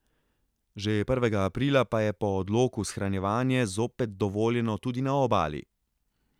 Že prvega aprila pa je po odloku shranjevanje zopet dovoljeno tudi na obali.